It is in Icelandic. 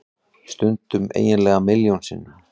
Stundum eiginlega milljón sinnum.